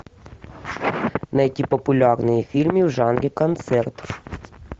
найти популярные фильмы в жанре концерт